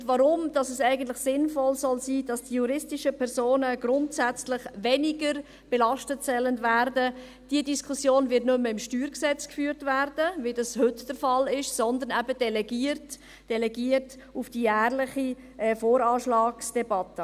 Und warum es eigentlich sinnvoll sein soll, dass die juristischen Personen grundsätzlich weniger belastet werden sollen, diese Diskussion wird nicht mehr im StG geführt werden, wie dies heute der Fall ist, sondern eben delegiert werden – delegiert auf die jährliche VA-Debatte.